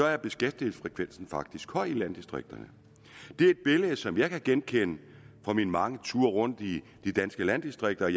er beskæftigelsesfrekvensen faktisk høj i landdistrikterne det er et billede som jeg kan genkende fra mine mange tur rundt i de danske landdistrikter og